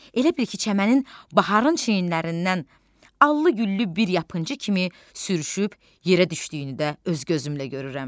Elə bil ki, çəmənin baharın çiynlərindən allı-güllü bir yapıncı kimi sürüşüb yerə düşdüyünü də öz gözümlə görürəm.